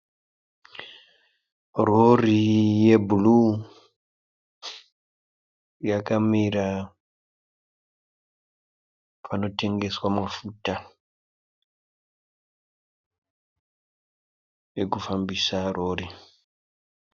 Rori ye bhuruwu yakamira panotengeswa mafuta ekufambisa rori.